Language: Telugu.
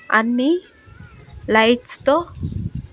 అన్నీ లైట్స్ తో--